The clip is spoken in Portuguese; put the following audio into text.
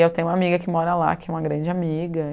E eu tenho uma amiga que mora lá, que é uma grande amiga.